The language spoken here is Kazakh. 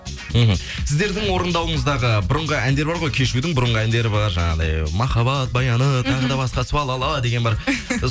мхм сіздердің орындауыңыздағы бұрынғы әндер бар ғой кешьюдің бұрынғы әндері бар жанағындай махаббат баяны тағы да басқа су а ла ла ла деген бар